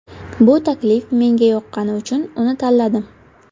Bu taklif menga yoqqani uchun uni tanladim.